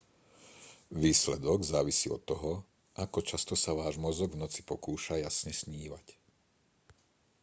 výsledok závisí od toho ako často sa váš mozog v noci pokúša jasne snívať